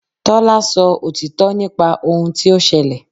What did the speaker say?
Tọ́lá sọ òtítọ́ nípa ohun tí ó ṣẹlẹ̀.